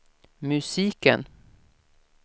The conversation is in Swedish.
musiken